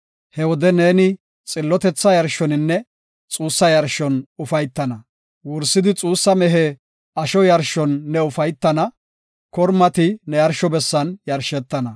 He wode ne xillotetha yarshoninne xuussa yarshon ufaytana. pollo shiqiaya mehe yarshon ne ufaytana; kormati ne yarsho bessan yarishetana.